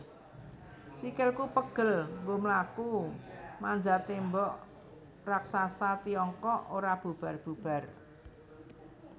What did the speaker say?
Sikilku pegel nggo mlaku manjat Tembok Raksasa Tiongkok ora bubar bubar